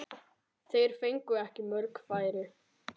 Þeir fengu ekki mörg færi.